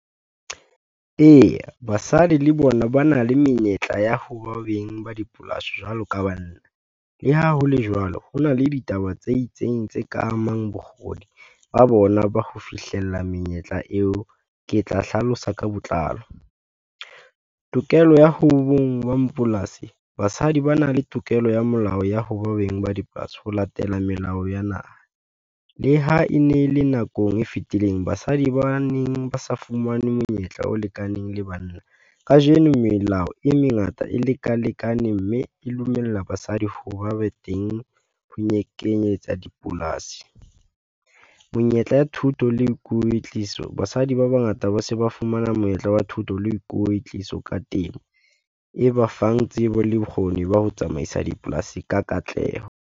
Eya basadi le bona ba na le menyetla ya ho ba beng ba dipolasi jwalo ka banna, le ha hole jwalo, ho na le ditaba tse itseng tse ka amang bokgoni ba bona ba ho fihlella menyetla eo. Ke tla hlalosa ka botlalo, tokelo ya ho beng ba mapolasi, basadi ba na le tokelo ya molao ya ho ba beng ba dipolasi, ho latela melao ya naha. Le ha e ne le nakong e fetileng, basadi ba neng ba sa fumane monyetla o lekaneng le banna, kajeno melao e mengata e leka lekane, mme e dumella basadi ho ba be teng ho nyeke kenyetsa dipolasi. Monyetla ya thuto le kwetliso, basadi ba bangata ba se ba fumana monyetla wa thuto le kwetliso ka temo e ba fang tsebo le bokgoni ba ho tsamaisa dipolasi ka katleho.